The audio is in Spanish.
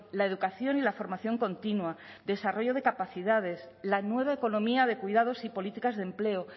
la educación y la formación continua desarrollo de capacidades la nueva economía de cuidados y políticas de empleo